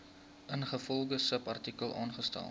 ingevolge subartikel aangestel